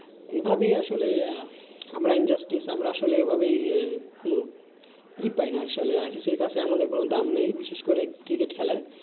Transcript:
এভাবেই আসলে আমরা injustice আমরা আসলে এভাবেই ই পাইনা। আসলে ICC কাছে আমাদের কোনো দাম নেই, বিশেষ করে cricket খেলায়।